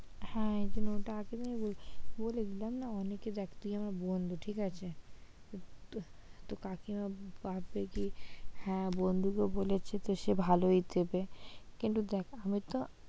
হ্যাঁ এইজন্য এটা আমি আগে থেকে বললাম না দেখ তুই আমার বন্ধু ঠিক আছে? তো কাকিমা ভাববে কি হ্যাঁ বন্ধু কে বলেছে তো সে ভালো ই দেবে কিন্তু দেখ আমি তো,